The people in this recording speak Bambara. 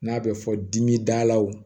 N'a bɛ fɔ dimi dalaw